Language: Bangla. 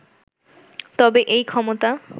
তবে এই ক্ষমতা